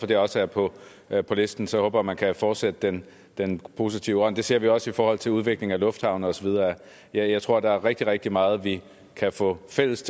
det også er på er på listen så håber jeg man kan fortsætte den den positive ånd det ser vi også i forhold til udviklingen af lufthavne og så videre jeg tror der er rigtig rigtig meget vi kan få fælles